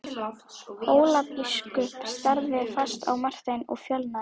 Hólabiskup starði fast á Martein og fölnaði.